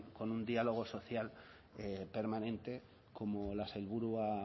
con un diálogo social permanente como la sailburu ha